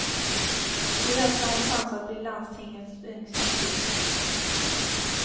I höst har hon chans att bli landstingets yngsta politiker.